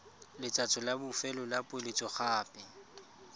letsatsi la bofelo la poeletsogape